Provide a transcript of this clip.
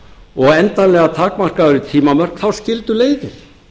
og endanlega takmarkað við tímamörk þá skildu leiðir